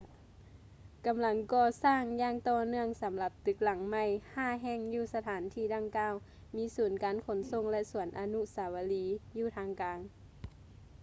ກຳລັງກໍ່ສ້າງຢ່າງຕໍ່ເນື່ອງສຳລັບຕຶກຫລັງໃໝ່ຫ້າແຫ່ງຢູ່ສະຖານທີ່ດັ່ງກ່າວ ມີສູນການຂົນສົ່ງ ແລະ ສວນອະນຸສາວະລີຢູ່ທາງກາງ